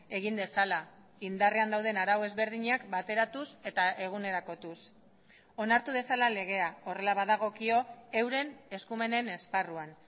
egin dezala indarrean dauden arau ezberdinak bateratuz eta egunerakotuz onartu dezala legea horrela badagokio euren eskumenen esparruan